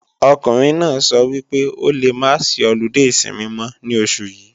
Ọkùnrin náà sọ wípé o lè máa sí ọludé ìsinmi mọ́ ní oṣù yí